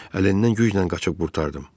Əlindən güclə qaçıb qurtardım.